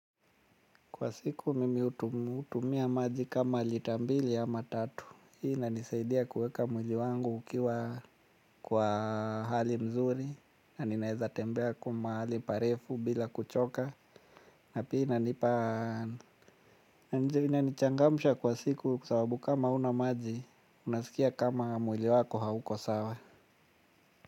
Kwa siku mimi hutumia maji kama lita mbili ama tatu. Hii inanisaidia kuweka mwili wangu ukiwa kwa hali mzuri. Na ninaweza tembea mahali parefu bila kuchoka. Na pia inanipa. Na ndio inanichangamsha kwa siku kwa sababu kama hauna maji. Unasikia kama mwili wako hauko sawa.